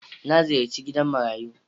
Na ziyarci gidan marayu.